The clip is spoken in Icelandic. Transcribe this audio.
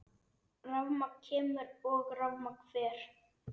Rafmagn kemur og rafmagn fer.